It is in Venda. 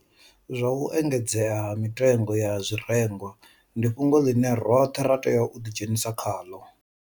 Zwa u engedzea ha mitengo ya zwirengwa ndi fhungo ḽine roṱhe ra tea u ḓidzhenisa khaḽo.